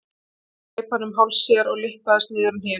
Síðan greip hann um háls sér og lyppaðist niður á hnén.